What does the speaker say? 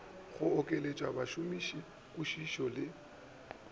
go okeletša mošomiši kwišišo le